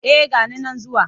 Eh ga ni nan zuwa.